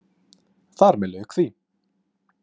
Þar með lauk því.